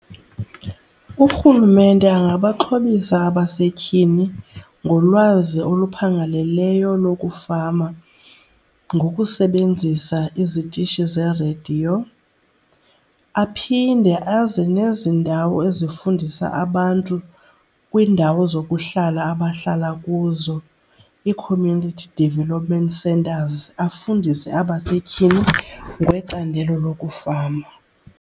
Urhulumente angabaxhobisa abasetyhini ngolwazi oluphangaleleyo lokufama ngokusebenzisa izitishi zerediyo. Aphinde aze nezi ndawo ezifundisa abantu kwiindawo zokuhlala abahlala kuzo, ii-community development centres, afundise abasetyhini ngecandelo lokufama.